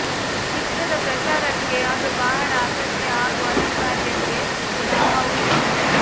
ಚಿತ್ರದ ಪ್ರಚಾರಕ್ಕೆ ಅದು ಬಹಳ ಅಗತ್ಯ ಹಾಗೂ ಅನಿವಾರ್ಯತೆ ಕೂಡಾ ಹೌದು